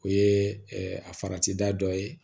O ye a farati da dɔ ye